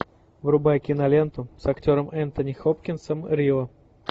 врубай киноленту с актером энтони хопкинсом рио